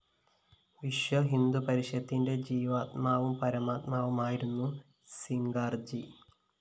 വിശ്വഹിന്ദു പരിഷത്തിന്റെ ജീവാത്മാവും പരമാത്മാവും ആയിരുന്നു സിംഗാള്‍ജി